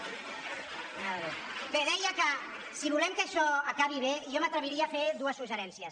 )bé deia que si volem que això acabi bé jo m’atrevi·ria a fer dos suggeriments